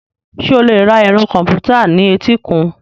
Ṣé o lè ra ẹ̀rọ kọ̀m̀pútà ní etíkun?